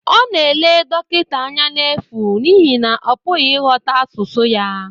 Ọ na-ele dọkịta anya n'efu n'ihi na ọ pụghị ịghọta asụsụ ya